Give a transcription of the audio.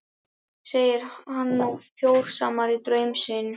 Segir hann nú fjósamanni draum sinn.